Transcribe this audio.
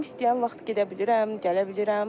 Ürəyim istəyən vaxt gedə bilirəm, gələ bilirəm.